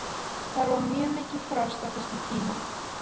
Það var mjög mikið frost á þessum tíma.